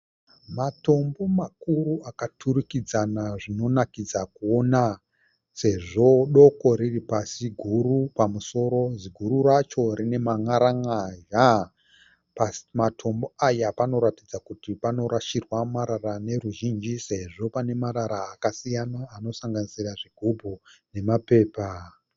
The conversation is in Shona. Matombo makuru akaturikidzana zvinonakidza kuona. Sezvo doko riripasi, guru pamusoro, ziguru racho rine man'aran'azha. Pasi pematombo aya panoratidza kuti panorasirwa marara neruzhinji sezvo pane marara akasiyana anosanganisira zvigubhu nemapepa.